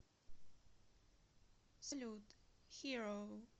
салют хиро